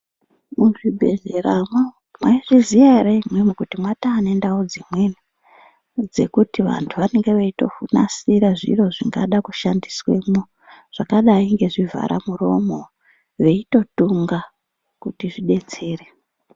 Muzvibhehleramwo mwaizviziya ere imimi kuti mwatonendau dzimweni dzekuti vantu vanenge veitonasira zviro zvingada kushandiswemwo zvakadai ngezvivharamuromo veitotunga kuti zvidetsere.